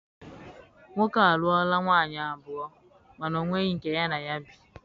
Nwoke a a lụọla nwaanyị abụọ mana ọ nweghị nke ya na ya bi.